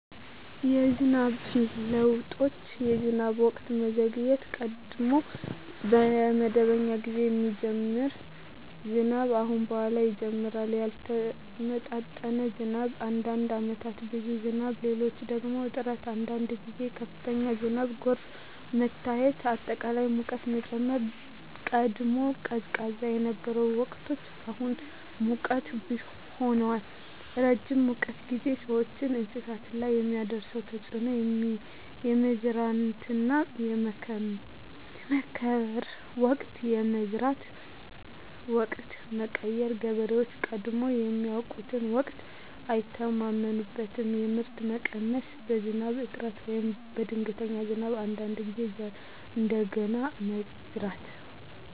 የዝናብ ለውጦች የዝናብ ወቅት መዘግየት – ቀድሞ በመደበኛ ጊዜ የሚጀምር ዝናብ አሁን በኋላ ይጀምራል ያልተመጣጠነ ዝናብ – አንዳንድ ዓመታት ብዙ ዝናብ፣ ሌሎች ደግሞ እጥረት አንዳንድ ጊዜ ከፍተኛ ዝናብና ጎርፍ መታየት አጠቃላይ ሙቀት መጨመር – ቀድሞ ቀዝቃዛ የነበሩ ወቅቶች አሁን ሞቃት ሆነዋል ረጅም የሙቀት ጊዜ – ሰዎችና እንስሳት ላይ የሚያደርስ ተፅዕኖ የመዝራትና የመከር ወቅት የመዝራት ወቅት መቀየር – ገበሬዎች ቀድሞ ያውቁትን ወቅት አይተማመኑበትም የምርት መቀነስ – በዝናብ እጥረት ወይም በድንገተኛ ዝናብ አንዳንድ ጊዜ ዘር እንደገና መዝራት